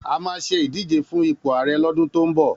A máa ṣe ìdíje fún ipò arẹ lọ́dún tó ń bọ̀.